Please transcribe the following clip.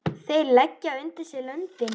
Þeir leggja undir sig löndin!